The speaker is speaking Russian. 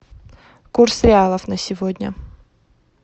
курс реалов на сегодня